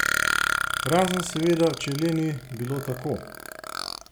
Razen seveda, če le ni bilo tako?